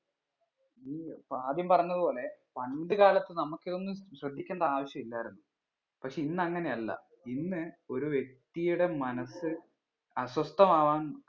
നീ ആദ്യം പറഞ്ഞത് പോലെ പണ്ട് കാലത്ത് നമുക്ക് ഇതൊന്നും ശ്രദ്ധിക്കേണ്ട ആവശ്യം ഇല്ലായിരുന്നു പക്ഷെ ഇന്നങ്ങനെ അല്ല ഇന്ന് ഒരു വ്യക്തിയുടെ മനസ്സ് അസ്വസ്ഥമാവാൻ